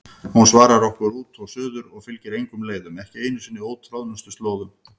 Hún svarar okkur út og suður og fylgir engum leiðum, ekki einu sinni ótroðnustu slóðum.